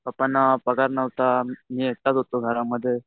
पपांना पगार नव्हता मी एकटाच होतो घरामध्ये.